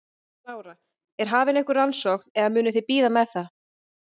Lára: Er hafin einhver rannsókn eða munuð þið bíða með það?